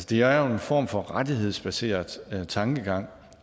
det er jo en form for rettighedsbaseret tankegang